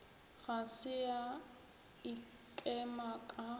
ga se a ikema ka